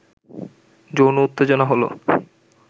যৌন উত্তেজনা হলো